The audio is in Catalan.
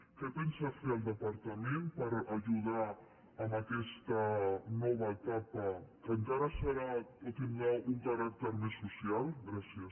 què pensa fer el departament per ajudar en aquesta nova etapa que encara serà o tindrà un caràcter més social gràcies